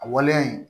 A waleya in